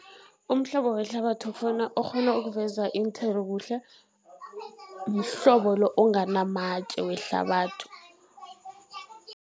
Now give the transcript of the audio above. Umhlobo wehlabathi ofuna, okghona ukuveza iinthelo kuhle, mhlobo lo onganamatje wehlabathi.